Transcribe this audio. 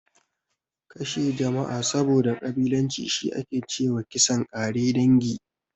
Kashe jama'a saboda ƙabilanci, shi ake ce wa kisan ƙare dangi.